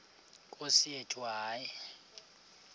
nkosi yethu hayi